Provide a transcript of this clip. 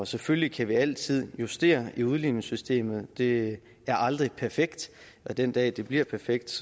selvfølgelig kan vi altid justere i udligningssystemet det er aldrig perfekt og den dag det bliver perfekt